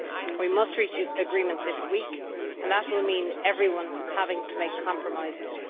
We must reach agreement this week, and that will mean everyone having to make compromises.